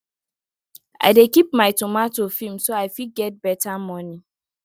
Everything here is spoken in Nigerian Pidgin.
i dey keep my tomato firm so i fit get better money